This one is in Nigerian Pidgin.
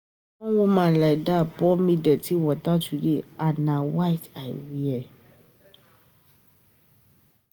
One woman like dat pour me dirty water today and na white I wear.